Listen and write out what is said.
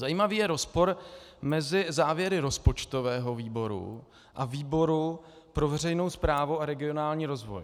Zajímavý je rozpor mezi závěry rozpočtového výboru a výboru pro veřejnou správu a regionální rozvoj.